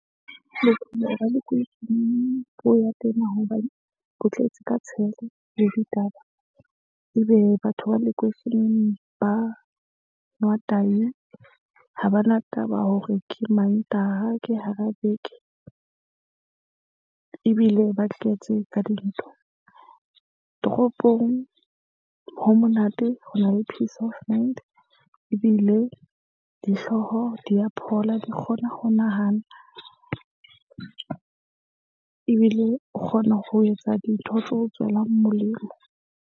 Bophelo ba lekweisheneng bo ya tena hobane bo tletse ka tshela le ditaba. Ebe batho ba lekweisheneng ba nwa tayi ha bana taba hore ke mantaha, ke hara beke, ebile ba tletse ka dintho. Toropong ho monate ho na le peace of mind ebile dihlooho di ya phola di kgona ho nahana. Ebile o kgona ho etsa dintho tseo tswelang molemo.